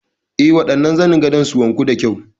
Eh, waɗannan zanin gadon su wanku da kyau.